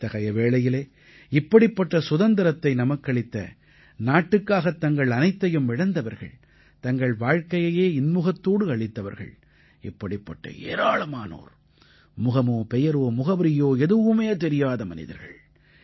இத்தகைய வேளையிலே இப்படிப்பட்ட சுதந்திரத்தை நமக்களித்த நாட்டுக்காகத் தங்கள் அனைத்தையும் இழந்தவர்கள் தங்கள் வாழ்க்கையையே இன்முகத்தோடு அளித்தவர்கள் இப்படிப்பட்ட ஏராளமானோர் முகமோ பெயரோ முகவரியோ எதுவுமே தெரியாத மனிதர்கள்